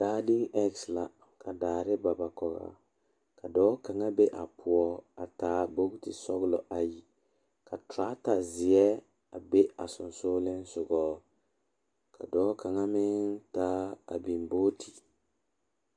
Dɔɔ kaŋa are la pegle bɔtuloŋ kaa pɔge are kaa zu waa pelaa su kpare ziɛ kaa bamine meŋ teɛ ba nuure kyɛ ba a wire ba nyɛmɛ.